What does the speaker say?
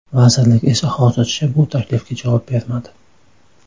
Vazirlik esa hozircha bu taklifga javob bermadi.